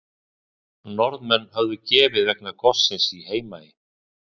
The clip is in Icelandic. Norðmenn höfðu gefið vegna gossins í Heimaey.